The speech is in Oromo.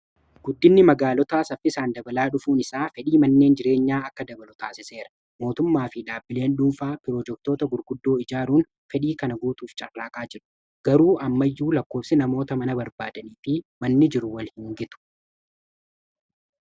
Guddinni magaalotaa saffisaan dabalaa dhufuun isaa fedhii manneen jireenyaa akka dabalu taasisseera mootummaa fi dhaabbileen dhuunfaa pirojektoota gurguddoo ijaaruun fedhii kana guutuuf carraaqaa jiru garuu ammayyuu lakkoofsi namoota mana barbaadanii fi manni jiru wal hin gitu.